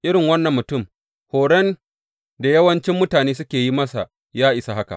Irin wannan mutum, horon da yawancin mutane suka yi masa ya isa haka.